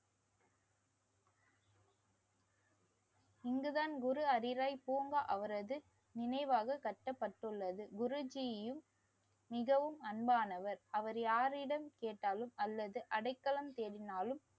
இங்குதான் குரு ஹரிராய் பூங்கா அவரது நினைவாக கட்டப்பட்டுள்ளது. குருஜீயும் மிகவும் அன்பானவர். அவர் யாரிடம் கேட்டாலும் அல்லது அடைக்கலம் தேடினாலும்